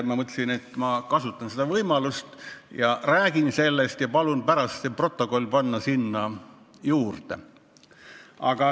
Ma mõtlesingi, et kasutan vaba mikrofoni võimalust ja räägin sellest eelnõust.